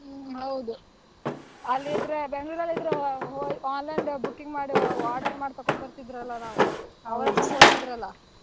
ಹ್ಮ್‌ ಹೌದು ಅಲ್ಲಿದ್ರೆ Bangalore ಅಲ್ಲಿದ್ರೆ online ದ್ booking ಮಾಡು order ಮಾಡ್ ತಕೋಬರ್ತಿದ್ರಲ್ಲ ನಾವು .